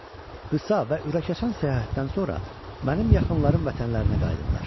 Qısa və ürək açan səyahətdən sonra mənim yaxınlarım vətənlərinə qayıdırlar.